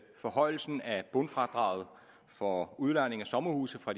forhøjelsen af bundfradraget for udlejning af sommerhuse fra